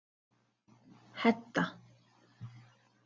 Hedda